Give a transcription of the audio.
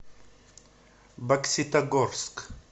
бокситогорск